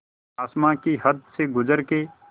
आसमां की हद से गुज़र के